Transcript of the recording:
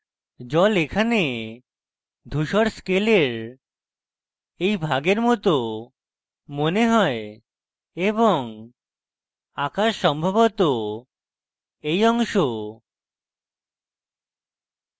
জল এখানে ধূসর scale এই ভাগের মত মনে হয় এবং আকাশ সম্ভবত এই অংশ